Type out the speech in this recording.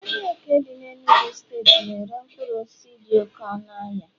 ahịa eke dị n'Enugwu steeti na-ere mkpụrụ osisi dị oke ọnụahịa